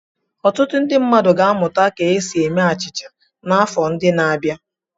Ọtụtụ ndị mmadụ ga-amụta ka esi eme achịcha n'afọ ndị na-abịa.